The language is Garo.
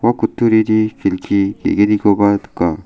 ua kutturini kelki ge·gnikoba nika.